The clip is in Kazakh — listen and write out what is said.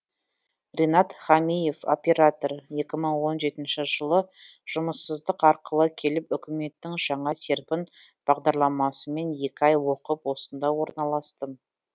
ренат хамиев оператор екі мың он жетінші жылы жұмыссыздық арқылы келіп үкіметтің жаңа серпін бағдарламасымен екі ай оқып осында орналастым